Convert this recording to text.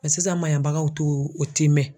sisan maɲabagaw t'o tiimɛn.